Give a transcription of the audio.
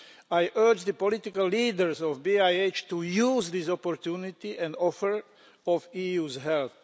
I urge the political leaders of BiH to use this opportunity and offer of EU help.